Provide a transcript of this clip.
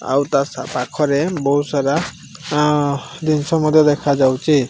ଆଉ ତା ସା ପାଖରେ ବହୁତ ସାରା ଆଁ ଦିନିଷ ମଧ୍ଯ ଦେଖାଯାଉଚି।